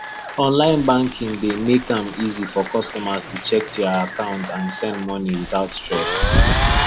online banking dey make am easy for customers to check their account and send money without stress